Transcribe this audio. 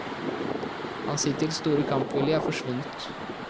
Hans hittil store kampvilje er forsvunnet.